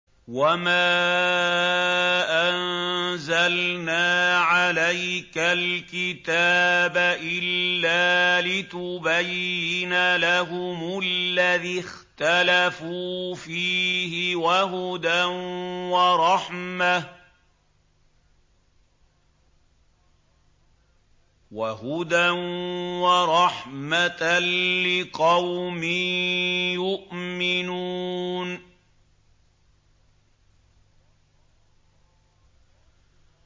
وَمَا أَنزَلْنَا عَلَيْكَ الْكِتَابَ إِلَّا لِتُبَيِّنَ لَهُمُ الَّذِي اخْتَلَفُوا فِيهِ ۙ وَهُدًى وَرَحْمَةً لِّقَوْمٍ يُؤْمِنُونَ